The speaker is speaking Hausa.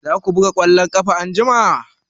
Za ku buga ƙwallon ƙafa anjima?